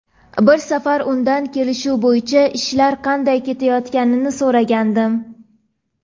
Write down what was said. Bir safar undan kelishuv bo‘yicha ishlar qanday ketayotganini so‘ragandim.